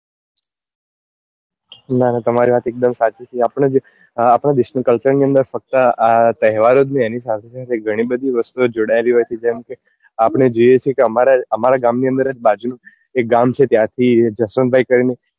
ના ના તમારી વાત એક દમ સાચી છે આપણા દેશ માં culture ની અંદર ફક્ત તહેવાર જ નહિ એની સાથે સાથે ગણી બધી વસ્તુઓ જોડાયેલી હોય છે જેમ કે આપડે જોઈએ છીએ કે અમારા ગામ ની અંદર જ બાજુ એક ગામ છે ત્યાં થી એક જસવંત ભાઈ કરી ને